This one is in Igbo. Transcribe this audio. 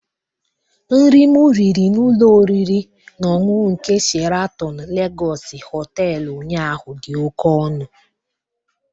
Nri m riri n'ụlọ oriri na ọṅụṅụ nke Sheratọn Legọsị Họtelụ ụnyaahụ dị oke ọnụ.